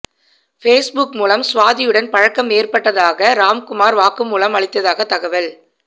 Facebook மூலம் சுவாதியுடன் பழக்கம் ஏற்பட்டதாக ராம்குமார் வாக்குமூலம் அளித்ததாக தகவல்